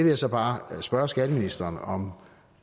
jeg så bare spørge skatteministeren om